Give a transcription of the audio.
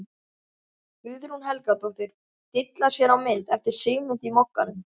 Guðrún Helgadóttir dillar sér á mynd eftir Sigmund í Mogganum.